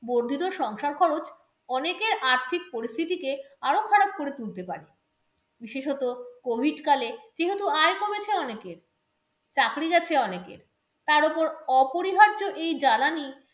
বর্ধিত সংসার খরচ অনেকের আর্থিক পরিস্থিতিকে আরো খারাপ করে তুলতে পারে। বিশেষত COVID কালে যেহেতু আয় কমেছে অনেকের, চাকরি গেছে অনেকের, তার ওপর অপরিহার্য এই জ্বালানি